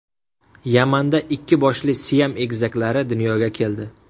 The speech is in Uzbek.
Yamanda ikki boshli Siam egizaklari dunyoga keldi.